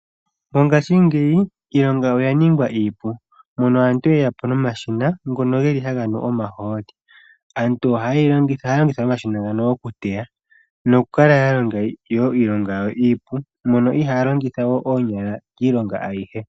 Mongashiingeyi iilonga oya ningwa iipu mono aantu yeya po nomashina ngono geli haga nu omahooli, aantu ohaya longitha omashina ngano oku teya noku kala ya longa iilonga yayo iipu mono ihaya longitha oonyala iilonga ayihe.